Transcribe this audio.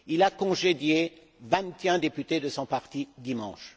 Il a congédié vingt et un députés de son parti dimanche.